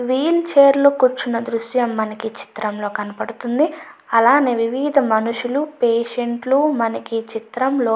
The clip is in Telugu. వీల్ చైర్ లో కూర్చున దృశ్యం మనకి ఈ చిత్రం లో కనపిస్తుంది అలాగే వివిధ రకాల మనుషులు పేషెంట్లు మనకి ఈ చిత్రం లో --